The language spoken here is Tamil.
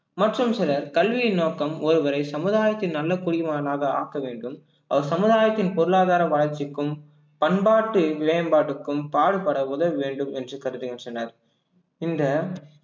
மற்றும் மற்றும் சிலர் கல்வியின் நோக்கம் ஒருவரை சமுதாயத்தின் நல்ல குடிமகனாக ஆக்க வேண்டும் அவர் சமுதாயத்தின் பொருளாதார வளர்ச்சிக்கும் பண்பாட்டு மேம்பாட்டுக்கும் பாடுபட உதவ வேண்டும் என்று கருதுகின்றனர் இந்த